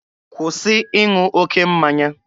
Kwụsị ịṅụ oke mmanya!